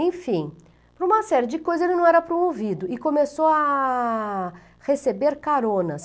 Enfim, por uma série de coisas ele não era promovido e começou a receber caronas.